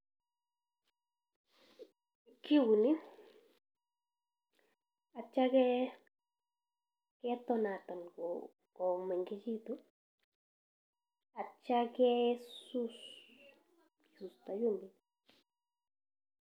Kiuni atyo ketonaton komengekitu atyo kesuus.